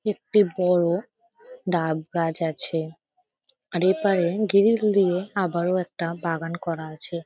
একটি বড় ডাব গাছ আছে । আর এপারে গ্রিল দিয়ে আবারও একটা বড় বাগান করা আছে ।